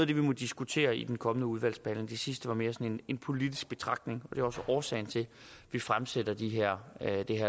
vi må diskutere i den kommende udvalgsbehandling det sidste var mere en politisk betragtning og det er også årsagen til at vi fremsætter det her